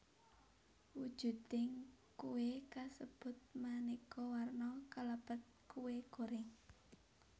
Wujuding kué kasebut manéka warna kalebet kué goreng